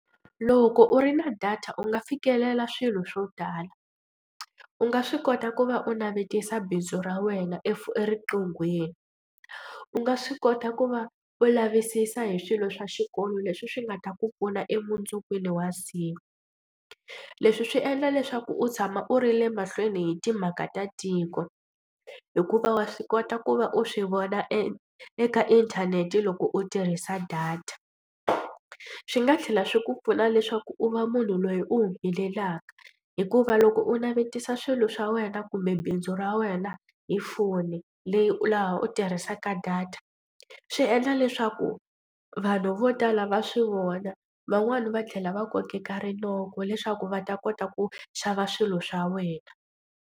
Loko u ri na data u nga fikelela swilo swo tala u nga swi kota ku va u navetisa bindzu ra wena eriqinghweni u nga swi kota ku va u lavisisa hi swilo swa xikolo leswi swi nga ta ku pfuna emundzukwini wa siku. Leswi swi endla leswaku u tshama u ri le mahlweni hi timhaka ta tiko hikuva wa swi kota ku va u swi vona e eka inthanete loko u tirhisa data. Swi nga tlhela swi ku pfuna leswaku u va munhu loyi u helelaka hikuva loko u navetisa swilo swa wena kumbe bindzu ra wena hi foni leyi u laha u tirhisaka data swi endla leswaku vanhu vo tala va swi vona van'wani va tlhela va kokeka rinoko leswaku va ta kota ku xava swilo swa wena.